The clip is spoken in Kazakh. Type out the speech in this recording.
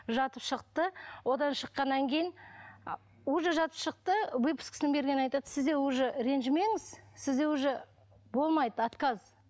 жатып шықты одан шыққаннан кейін уже жатып шықты выпискасын бергеннен кейін айтады сізде уже ренжімеңіз сізде уже болмайды отказ